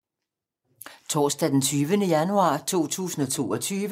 Torsdag d. 20. januar 2022